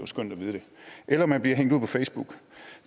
skønt at vide det eller at man bliver hængt ud på facebook